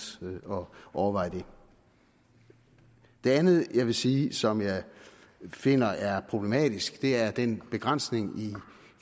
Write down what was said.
at overveje det det andet jeg vil sige som jeg finder er problematisk er den begrænsning i